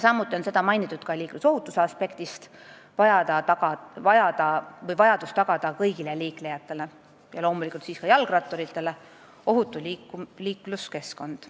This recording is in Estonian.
Samuti on seda mainitud liiklusohutuse aspektist: kõigile liiklejatele, loomulikult ka jalgratturitele, on vaja tagada ohutu liikluskeskkond.